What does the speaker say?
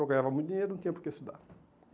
Eu ganhava muito dinheiro, não tinha por que estudar.